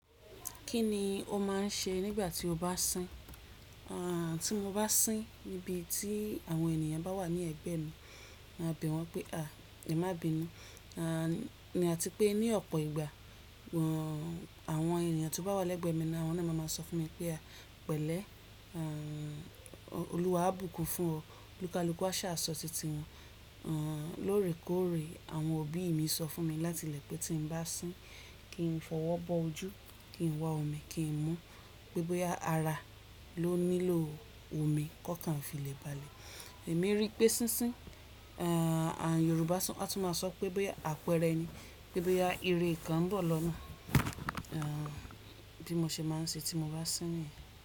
Kíni o máa ń ṣe nígbà tí o bá sín? Àn tí mo bá sín, níbi tí àwọn ènìyàn bá wà ní ẹ̀gbẹ́ mi, màá bẹ̀ wọ́n pé a, "ẹ̀má bínú" àní. Àti pé ní ọ̀pọ̀ ìgbà, àwọn ènìyàn tó bá wà lẹ́gbẹ̀ẹ́ mi ni wọ́n ni máa máa sọ fún mi pé a, "pẹ̀lẹ́, àn Olúwa á bùkún fún ọ", lu kálùkú a sa sọ titi wọn. Àn lóòrèkóòrè àwọn òbí mi sọ fún mi láti ilẹ̀ pé tí mo bá sín, kí n fọwọ́ bọ́ ojú, kí n wá omi, kí n mu. Pé bóyá ara ló nílò omi kó kàn fi lè balẹ̀. Èmi rí pé sísín, àn Yorùbá tún máa sọ pé bóyá àpẹẹrẹ ni, pé bóyá ire kan ń bọ̀ lọ́nà. Àn bí mo ṣe máa ń ṣe tí mo bá sín niyen.